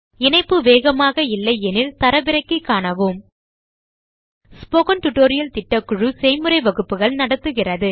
இணைப்பு வேகமாக இல்லையெனில் தரவிறக்கி காணவும் ஸ்போக்கன் டியூட்டோரியல் திட்டக்குழு செய்முறை வகுப்புகள் நடத்துகிறது